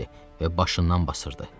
Və başından basırdı.